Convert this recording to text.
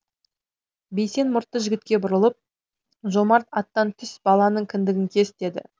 бейсен мұртты жігітке бұрылып жомарт аттан түс баланың кіндігін кес деді